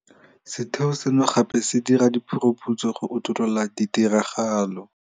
Setheo seno gape se dira diphuruphutso go utolola ditiragalo.